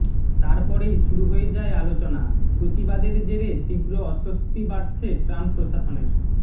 তারপরেই শুরু হয়ে যায় আলোচনা প্রতিবাদের জেরে তীব্র অস্বস্তি বাড়ছে ট্রাম্প প্রশাসনের